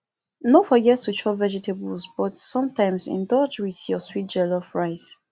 no forget to chop vegetables but sometimes indulge with your favorite jollof rice